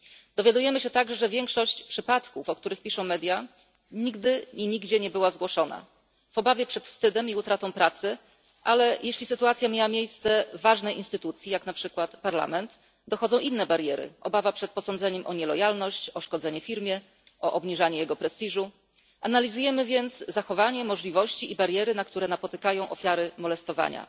Dowiadujemy się także, że większość przypadków, o których piszą media, nigdy i nigdzie nie została zgłoszona w obawie przed wstydem i utratą pracy, a jeśli sytuacja miała miejsce w ważnej instytucji, jak na przykład parlament, dochodzą inne bariery obawa przed posądzeniem o nielojalność, o szkodzenie firmie, o obniżanie jej prestiżu. Analizujemy więc zachowanie, możliwości i bariery, które napotykają ofiary molestowania.